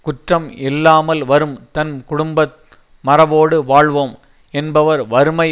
குற்றம் இல்லாமல் வரும் தம் குடும்ப மரபோடு வாழ்வோம் என்பவர் வறுமை